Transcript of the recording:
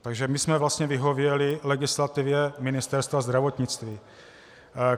Takže my jsme vlastně vyhověli legislativě Ministerstva zdravotnictví.